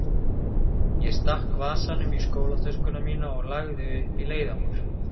Ég stakk vasanum í skólatöskuna mína og lagði upp í leiðangur.